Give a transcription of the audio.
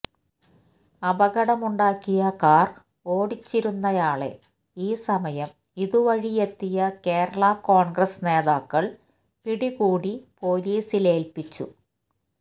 അപകടമുണ്ടാക്കിയ car ഓടിച്ചിരുന്നയാളെ ഈ സമയം ഇതുവഴിയെത്തിയ കേരള കോണ്ഗ്രസ് നേതാക്കള് പിടികൂടി പോലീസിലേല്പ്പിച്ചു